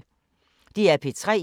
DR P3